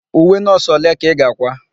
Uwe nọọsụ ole ka ị ga-àkwá?